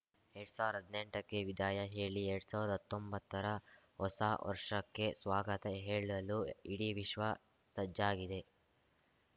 ಎರಡ್ ಸಾವಿರ್ದಾ ಹದ್ನೆಂಟಕ್ಕೆ ವಿದಾಯ ಹೇಳಿ ಎರಡ್ ಸಾವಿರ್ದಾ ಹತ್ತೊಂಬತ್ತರ ಹೊಸ ವರ್ಷಕ್ಕೆ ಸ್ವಾಗತ ಹೇಳಲು ಇಡೀ ವಿಶ್ವ ಸಜ್ಜಾಗಿದೆ